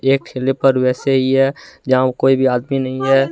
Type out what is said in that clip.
एक ठेले पे वैसे ही है जहां कोई आदमी नहीं है।